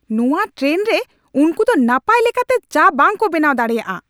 ᱱᱚᱶᱟ ᱴᱨᱮᱱ ᱨᱮ ᱩᱱᱠᱩ ᱫᱚ ᱱᱟᱯᱟᱭ ᱞᱮᱠᱟᱛᱮ ᱪᱟ ᱵᱟᱝᱠᱚ ᱵᱮᱱᱟᱣ ᱫᱟᱲᱮᱭᱟᱜᱼᱟ !